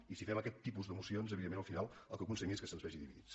i si fem aquest tipus de mocions evidentment al final el que aconseguim és que se’ns vegi dividits